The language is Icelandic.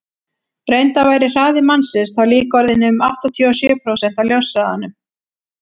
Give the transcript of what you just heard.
reyndar væri hraði mannsins þá líka orðinn um áttatíu og sjö prósent af ljóshraðanum